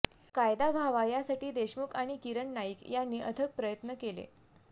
कायदा व्हावा यासाठी देशमुख आणि किरण नाईक यांनी अथक प्रयत्न केले